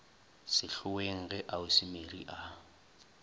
sehloeng ge ausi mary a